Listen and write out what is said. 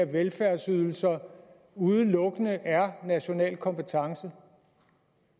velfærdsydelser udelukkende er national kompetence